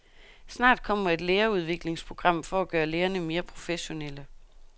Snart kommer et lærerudviklingsprogram for at gøre lærerne mere professionelle.